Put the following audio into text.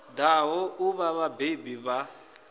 ḓaho u vha vhabebi vha